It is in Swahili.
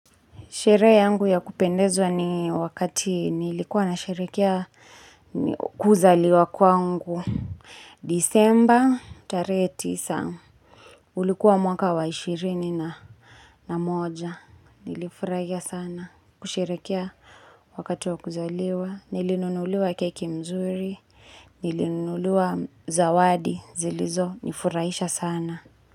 Sherehe yangu ya kupendezwa ni wakati nilikuwa na sherekea kuzaliwa kwangu. Disemba tarehe tisa ulikuwa mwaka wa ishirini na moja. Nilifurahia sana kusherekea wakati wa kuzaliwa. Nilinunuliwa keki mzuri, nilinunuliwa zawadi zilizo nifurahisha sana.